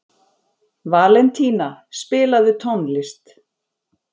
Valentína, spilaðu tónlist.